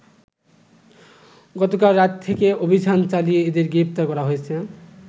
গতকাল রাত থেকে অভিযান চালিয়ে এদের গ্রেপ্তার করা হয়েছে।